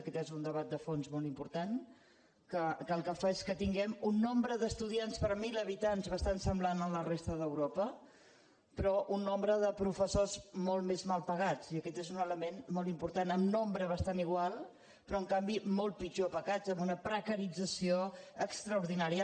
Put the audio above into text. aquest és un debat de fons molt important que el que fa és que tinguem un nombre d’estudiants per mil ha·bitants bastant semblant a la resta d’europa però un nombre de professors molt més mal pagats i aquest és un element molt important en nombre bastant igual però en canvi molt pitjor pagats amb una precaritza·ció extraordinària